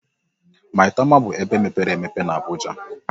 Maitama bụ ebe mepere emepe na Abuja.